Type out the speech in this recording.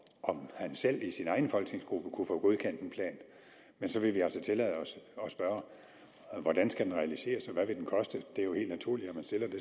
om han selv i sin egen folketingsgruppe kunne få godkendt en plan men så vil vi altså tillade os at spørge hvordan skal den realiseres og hvad vil den koste det er jo helt naturligt